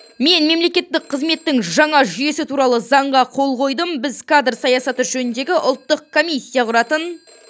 мен мемлекеттік қызметтің жаңа жүйесі туралы заңға қол қойдым біз кадр саясаты жөніндегі ұлттық комиссия құратын